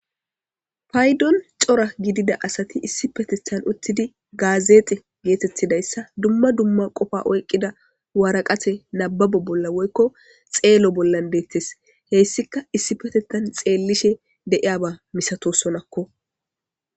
Paydon cora gidida asati issi petethan uttidi gaazexe geetettidayssa dumma dumma qofa oyqqida waaraqate nababo bolla woykko xeelo bollan deettes heyssika issi petettan xeellishe deiyaba misato sonakko